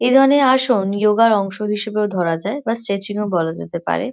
এ ধরনের আসন ইয়োগা -র অংশ হিসেবেও ধরা যায় বা স্ট্রেচিং -ও বলা যেতে পারে।